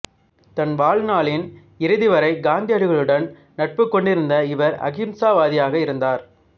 தன் வாழ்நாளின் இறுதி வரை காந்தியடிகளுடன் நட்புக் கொண்டிருந்த இவர் அஹிம்சாவாதியாக இருந்தார்